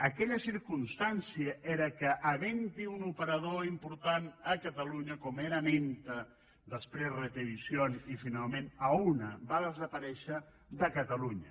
aquella circumstància era que havent hi un operador important a catalunya com era menta després retevisión i finalment auna va desaparèixer de catalunya